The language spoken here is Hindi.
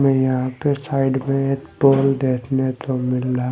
में यहाँ पे साइड में एक पॉल देखने को मिल रहा है।